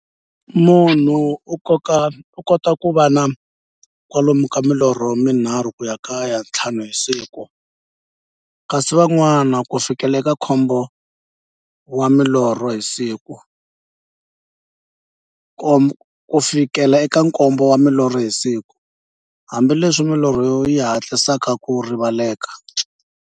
Munhu u kota ku va na kwalomu ka milorho mi nharhu ku ya ka ya nthlanu hi siku, kasi van'wana ku fikela eka nkombo wa milorho hi siku, hambileswi milorho yi hatlisaka ku rivaleka.